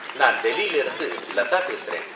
நான் டெல்லியில இருந்து லதா பேசறேன்.